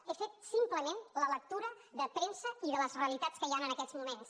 he fet simplement la lectura de premsa i de les realitats que hi han en aquests moments